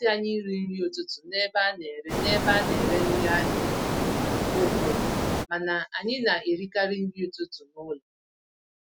Ọ namasị anyị irí nri ụtụtụ n'ebe a nere n'ebe a nere nri ahịa mgbe ụfọdụ, mana anyị na-erikarị nri ụtụtụ n'ụlọ.